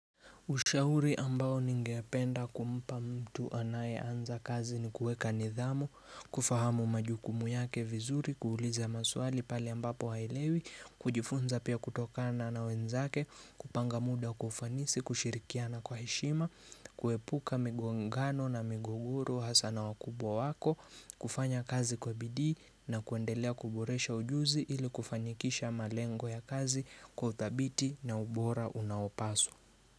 Ushauri ambao ningependa kumpa mtu anaye anza kazi ni kueka nidhamu, kufahamu majukumu yake vizuri, kuuliza maswali pahali ambapo halewi, kujifunza pia kutokana na wenzake, kupanga muda kufanisi, kushirikiana kwa heshima, kuepuka migongano na miguguru, hasana wakubwa wako, kufanya kazi kwa bidii na kuendelea kuboresha ujuzi ili kufanikisha malengo ya kazi kwa uthabiti na ubora unaopaswa.